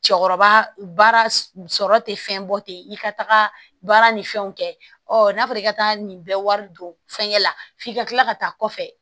Cɛkɔrɔba baara sɔrɔ te fɛn bɔ ten i ka taga baara ni fɛnw kɛ ɔ n'a fɔra i ka taa nin bɛɛ wari don fɛn la f'i ka kila ka taa kɔfɛ